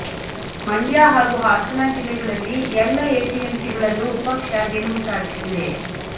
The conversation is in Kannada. ಮಂಡ್ಯ ಹಾಗೂ ಹಾಸನ ಜಿಲ್ಲೆಗಳಲ್ಲಿ ಎಲ್ಲ ಎಪಿಎಂಸಿಗಳಲ್ಲೂ ಪಕ್ಷ ಗೆಲುವು ಸಾಧಿಸಿದೆ